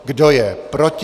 Kdo je proti?